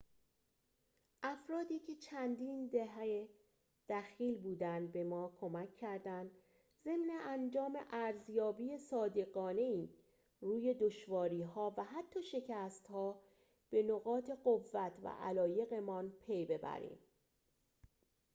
افرادی که چندین دهه دخیل بودند به ما کمک کردند ضمن انجام ارزیابی صادقانه‌ای روی دشواری‌ها و حتی شکست‌ها به نقاط قوت و علایق‌مان پی ببریم